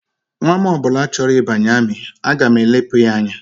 Nnwa m ọ bụla chọrọ ịbanye amị, aga m elepụ ya anya